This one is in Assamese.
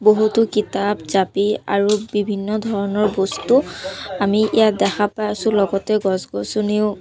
বহুতো কিতাপ জাপি আৰু বিভিন্ন ধৰণৰ বস্তু আমি ইয়াত দেখা পাই আছোঁ লগতে গছ-গছনিও--